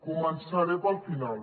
començaré pel final